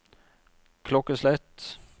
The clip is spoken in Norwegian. klokkeslett